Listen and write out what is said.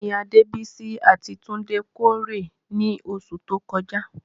Kí ni Adebisi àti Tunde kórè ní oṣù tó kọjá?